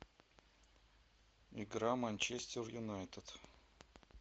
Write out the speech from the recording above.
игра манчестер юнайтед